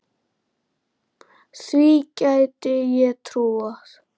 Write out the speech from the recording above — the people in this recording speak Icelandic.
Því gæti ég trúað